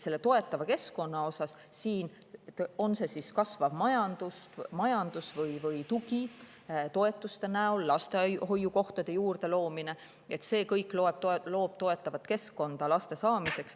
Näiteks kasvav majandus, tugi toetuste näol, lastehoiukohtade juurde loomine – see kõik loob toetavat keskkonda laste saamiseks.